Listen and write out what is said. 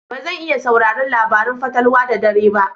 Ba zan iya sauraron labarun fatalwa da dare ba.